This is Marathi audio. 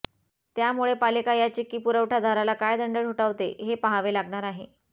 त्यामुळे पालिका या चिक्की पुरवठादाराला काय दंड ठोठावते हे पाहावे लागणार आहे